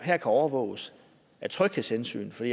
kan overvåges af tryghedshensyn for